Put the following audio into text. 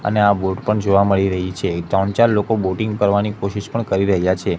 અને આ બોટ પણ જોવા મળી રહી છે ત્રણ ચાર લોકો બોટિંગ કરવાની કોશિશ પણ કરી રહ્યા છે.